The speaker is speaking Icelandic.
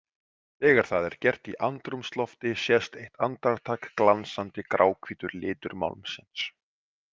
Þegar það er gert í andrúmslofti sést eitt andartak glansandi gráhvítur litur málmsins.